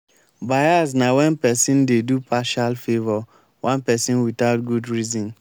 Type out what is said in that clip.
bias na wen pesin dey do partial favour one pesin without good reason.